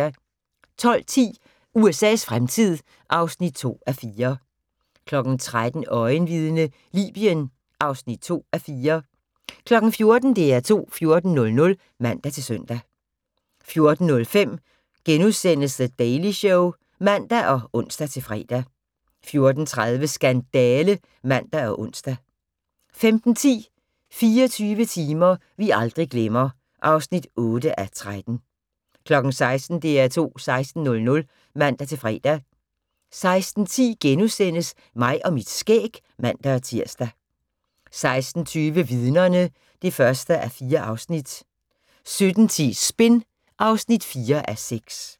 12:10: USA's fremtid (2:4) 13:00: Øjenvidne - Libyen (2:4) 14:00: DR2 14.00 (man-søn) 14:05: The Daily Show *(man og ons-fre) 14:30: Skandale (man og ons) 15:10: 24 timer vi aldrig glemmer (8:13) 16:00: DR2 16.00 (man-fre) 16:10: Mig og mit skæg *(man-tir) 16:20: Vidnerne (1:4) 17:10: Spin (4:6)